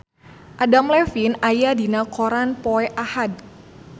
Adam Levine aya dina koran poe Ahad